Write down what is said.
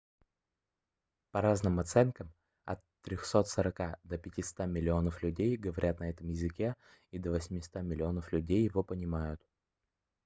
по разным оценкам от 340 до 500 миллионов людей говорят на этом языке и до 800 миллионов людей его понимают